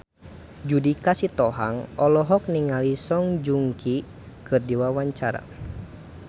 Judika Sitohang olohok ningali Song Joong Ki keur diwawancara